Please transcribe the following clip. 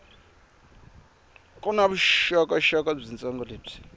ku na vuxokoxoko byitsongo lebyi